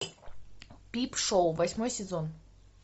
пип шоу восьмой сезон